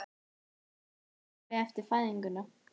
Það sama á við eftir fæðinguna.